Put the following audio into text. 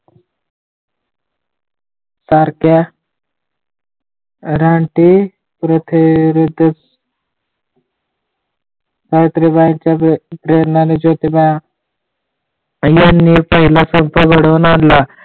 सारख्या रानटी कृतीविरुद्ध सावित्रीबाईंच्या प्रेरणेने ज्योतिबा फुलांनी पहिला संप लढवून आणला